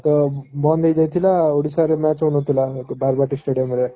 ତ ବନ୍ଦ ହେଇଯାଇଥିଲା ଓଡିଶାରେ match ହଉନଥିଲା ବାରବାଟୀ stadium ରେ